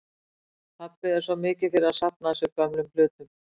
Pabbi er svo mikið fyrir að safna að sér gömlum hlutum.